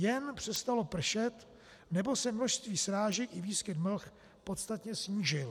Jen přestalo pršet nebo se množství srážek i výskyt mlh podstatně snížil.